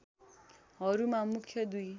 हरूमा मुख्य दुई